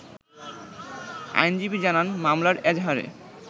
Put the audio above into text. আইনজীবী জানান, মামলার এজাহারে